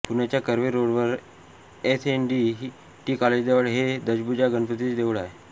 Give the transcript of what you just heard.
पुण्याच्या कर्वे रोडवर S N D T कॉलेजजवळ हे दशभुजा गणपतीचे देऊळ आहे